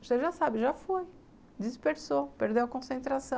Você já sabe, já foi, dispersou, perdeu a concentração.